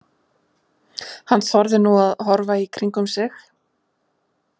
Hann þorði nú að horfa í kringum sig.